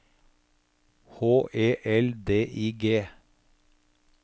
H E L D I G